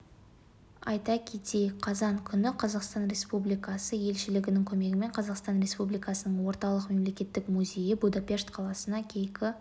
айта кетейік қазан күні қазақстан республикасы елшілігінің көмегімен қазақстан республикасының орталық мемлекеттік музейі будапешт қаласына кейкі